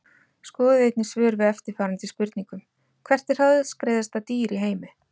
Skoðið einnig svör við eftirfarandi spurningum Hvert er hraðskreiðasta dýr í heimi?